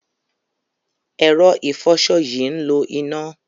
Ẹ̀rọ ìfọṣọ yìí ń lo iná.